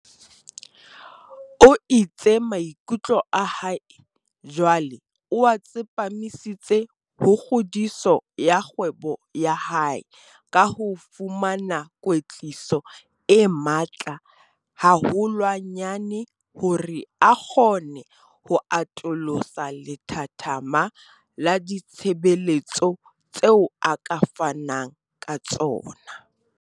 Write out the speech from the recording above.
O itse maikutlo a hae jwale o a tsepamisitse ho kgodiso ya kgwebo ya hae ka ho fumana kwetliso e matla haholwanyane hore a kgone ho atolosa lethathama la ditshebeletso tseo a ka fanang ka tsona.